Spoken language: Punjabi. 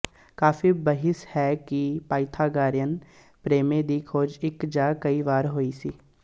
ਕਾਫ਼ੀ ਬਹਿਸ ਹੈ ਦੀ ਕੀ ਪਾਇਥਾਗਾਰਿਅਨ ਪ੍ਰਮੇਏ ਦੀ ਖੋਜ ਇੱਕ ਜਾਂ ਕਈ ਵਾਰ ਹੋਈ ਸੀ